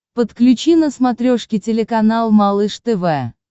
подключи на смотрешке телеканал малыш тв